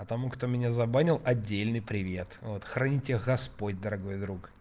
а тому кто меня забанил отдельный привет вот храни тебя господь дорогой друг